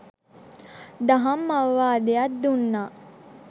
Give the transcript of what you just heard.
දහම් අවවාදයක් දුන්නා.